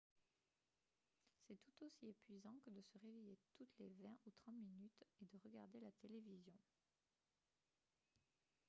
c'est tout aussi épuisant que de se réveiller toutes les vingt ou trente minutes et de regarder la télévision